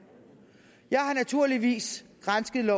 jeg har naturligvis gransket